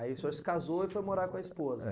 Aí o senhor se casou e foi morar com a esposa? É.